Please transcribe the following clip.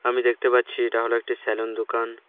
আমি দেখতে পাচ্ছি এটা হলো একটি সেলুন দোকান।